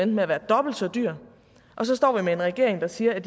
med at være dobbelt så dyr og så står vi med en regering der siger at